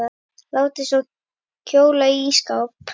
Látið svo kólna í ísskáp.